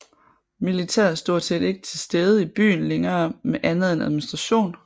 Militæret er stort set ikke til stede i byen længere med andet end administration